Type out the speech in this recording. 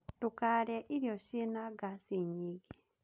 Ndũkarĩe irio ciĩna ngaci nyingĩ